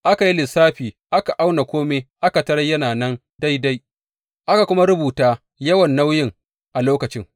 Aka yi lissafi aka auna kome aka tarar yana nan daidai, aka kuma rubuta yawan nauyin a lokacin.